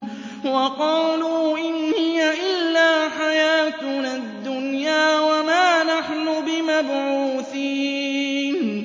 وَقَالُوا إِنْ هِيَ إِلَّا حَيَاتُنَا الدُّنْيَا وَمَا نَحْنُ بِمَبْعُوثِينَ